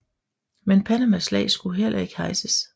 Men Panamas flag skulle heller ikke hejses